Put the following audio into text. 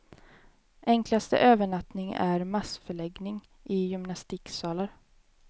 Enklaste övernattning är massförläggning i gymnastiksalar.